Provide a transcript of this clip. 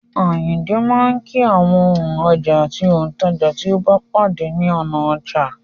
Àyìndé máa kí àwọn òǹrajà àti òǹtajà tí ó bá pàdé ní ọ̀nà ọjà.